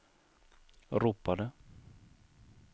ropade